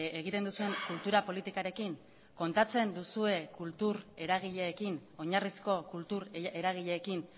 egiten duzuen kultura politikarekin kontatzen duzue kultur eragileekin oinarrizko kultur eragileekin